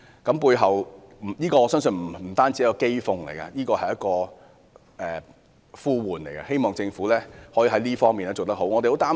這不單是一種譏諷，亦是一種呼喚，希望政府能在這方面好好作出改善。